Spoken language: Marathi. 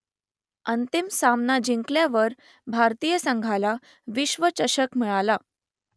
अंतिम सामना जिंकल्यावर भारतीय संघाला विश्वचषक मिळाला